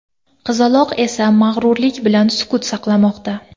Qizaloq esa mag‘rurlik bilan sukut saqlamoqda.